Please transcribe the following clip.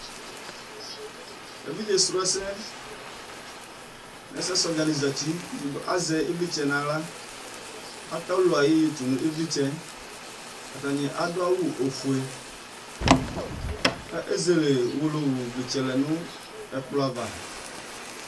evidze srɔ ɛsɛ nu ɛsɛ srɔ dza ni zati azɛ ivlitsɛ nu aɣla, ata ɔlulu ayi yeye tu nu ivlitsɛ, ata adu awu ofue, ka ezele owolowu vlitsɛ lɛ nu ɛkplɔ ava